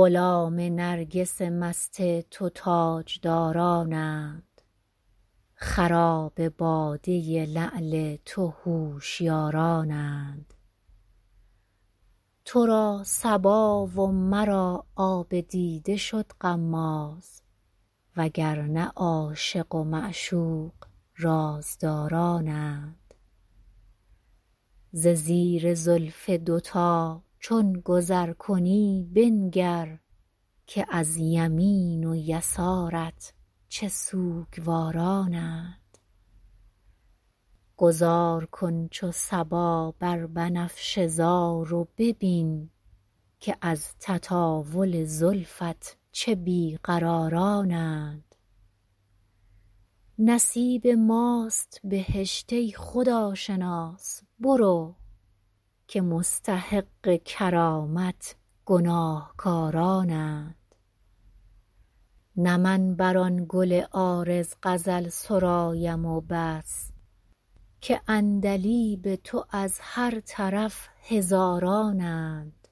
غلام نرگس مست تو تاجدارانند خراب باده لعل تو هوشیارانند تو را صبا و مرا آب دیده شد غماز و گر نه عاشق و معشوق رازدارانند ز زیر زلف دوتا چون گذر کنی بنگر که از یمین و یسارت چه سوگوارانند گذار کن چو صبا بر بنفشه زار و ببین که از تطاول زلفت چه بی قرارانند نصیب ماست بهشت ای خداشناس برو که مستحق کرامت گناهکارانند نه من بر آن گل عارض غزل سرایم و بس که عندلیب تو از هر طرف هزارانند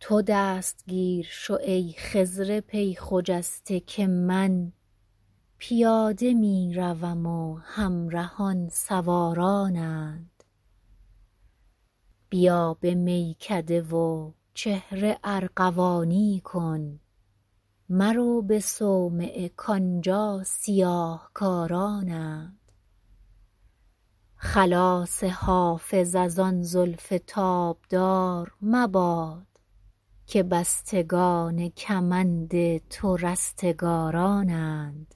تو دستگیر شو ای خضر پی خجسته که من پیاده می روم و همرهان سوارانند بیا به میکده و چهره ارغوانی کن مرو به صومعه کآنجا سیاه کارانند خلاص حافظ از آن زلف تابدار مباد که بستگان کمند تو رستگارانند